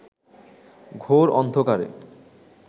ঘোর অন্ধকারে